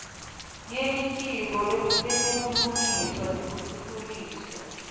yelitiko letebulungiswa nekutfutfukiswa